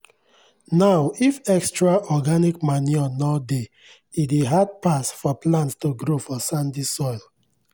now if extra organic manure nor dey e dey hard pass for plants to grow for sandy soil